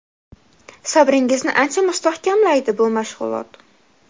Sabringizni ancha mustahkamlaydi bu mashg‘ulot.